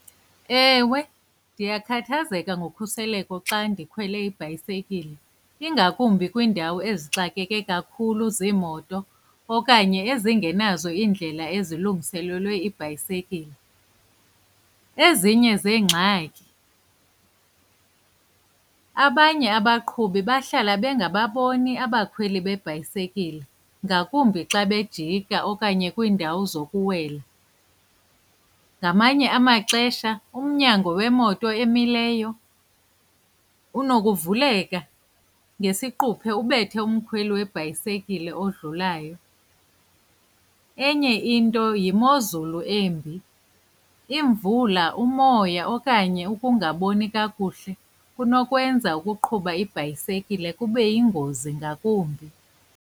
Ewe, ndiyakhathazeka ngokhuseleko xa ndikhwele ibhayisekile ingakumbi kwiindawo ezixakeke kakhulu ziimoto okanye ezingenazo iindlela ezilungiselelwe iibhayisekile. Ezinye zeengxaki, abanye abaqhubi bahlala bengababoni abakhweli beebhayisekile ngakumbi xa bejika okanye kwindawo zokukhwela. Ngamanye amaxesha umnyango wemoto emileyo unokuvuleka ngesiquphe ubethe umkhweli webhayisikile odlulayo. Enye into yimozulu embi, imvula, umoya okanye ukungaboni kakuhle kunokwenza ukuqhuba ibhayisekile kube yingozi ngakumbi.